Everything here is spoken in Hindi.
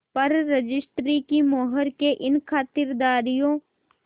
पर रजिस्ट्री की मोहर ने इन खातिरदारियों